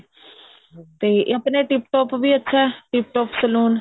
ਤੇ ਆਪਣੇ ਇਹ tip top ਵੀ ਅੱਛਾ tip top saloon